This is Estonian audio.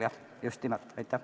Jah, just nimelt!